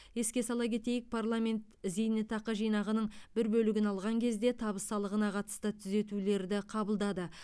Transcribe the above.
еске сала кетейік парламент зейнетақы жинағының бір бөлігін алған кезде табыс салығына қатысты түзетулерді қабылдады